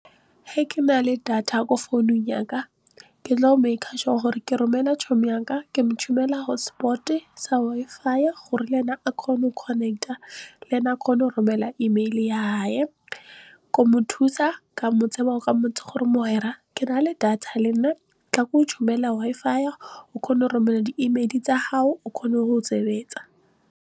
He ke na le data ko founung yaka ke tlo make-a sure gore ke romela yaka ke mo tshumela hotspot-e sa Wi-Fi gore le ena a kgone go connect-a le ene a kgone go romela email-e ya , ko mo thusa ka mmontsha gore ke nale data tla ke go tshumumele Wi-Fi o kgona go romela di-email-e tsa gago o kgone go sebetsa.